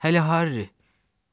Hələ Harri?